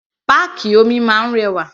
Páàkì omi máa ń rẹwà.